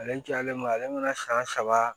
Ale cayalen don ale mana san saba